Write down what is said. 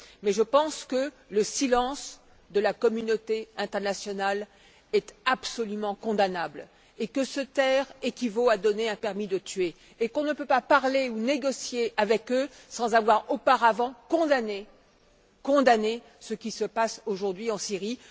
Et je pense que le silence de la communauté internationale est absolument condamnable, que se taire équivaut à délivrer un permis de tuer, et qu'on ne peut pas parler ou négocier avec eux sans avoir auparavant condamné ce qui se passe aujourd'hui en Syrie.